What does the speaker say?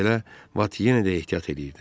Bununla belə Bat yenə də ehtiyat eləyirdi.